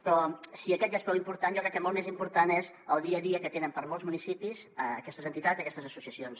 però si aquest ja és prou important jo crec que molt més important és el dia a dia que tenen per a molts municipis aquestes entitats aquestes associacions